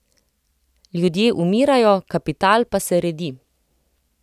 Ljudje umirajo kapital pa se redi.